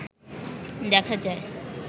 দেখা যায়